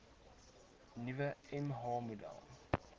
nuwe mh model